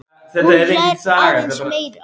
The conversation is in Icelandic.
Hún hlær aðeins meira.